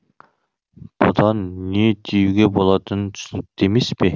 бұдан не түюге болатыны түсінікті емеспе